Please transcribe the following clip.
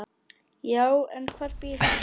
Já, en hvar býr hún?